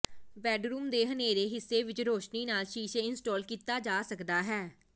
bedroom ਦੇ ਹਨ੍ਹੇਰੇ ਹਿੱਸੇ ਵਿਚ ਰੋਸ਼ਨੀ ਨਾਲ ਸ਼ੀਸ਼ੇ ਇੰਸਟਾਲ ਕੀਤਾ ਜਾ ਸਕਦਾ ਹੈ